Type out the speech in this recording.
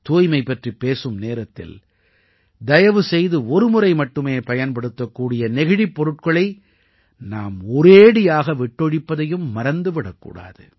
தூய்மை பற்றிப் பேசும் நேரத்தில் தயவு செய்து ஒருமுறை மட்டுமே பயன்படுத்தக்கூடிய நெகிழிப் பொருட்களை நாம் ஒரேடியாக விட்டொழிப்பதையும் மறந்து விடக் கூடாது